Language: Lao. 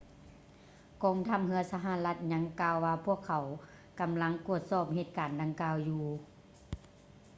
ກອງທັບເຮືອສະຫະລັດຍັງກ່າວວ່າພວກເຂົາກຳລັງກວດສອບເຫດການດັ່ງກ່າວຢູ່